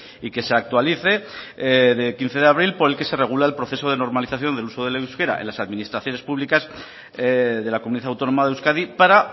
y que se actualice de quince de abril por el que se regula el proceso de normalización del uso del euskera en las administraciones públicas de la comunidad autónoma de euskadi para